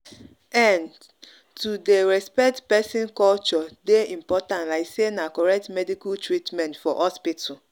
ehn to dey respect person culture dey important like say na correct medical treatment for hospital.